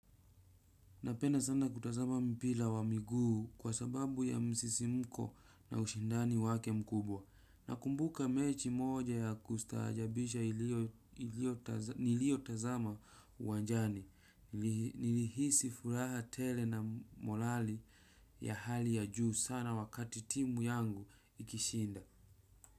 Napenda sana kutazama mpira wa miguu kwa sababu ya msisimko na ushindani wake mkubwa. Nakumbuka mechi moja yakustajabisha niliyo tazama uwanjanai. Nilihisi furaha tele na morali ya hali ya juu sana wakati timu yangu ikishinda.